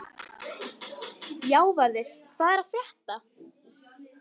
Játvarður, hvað er að frétta?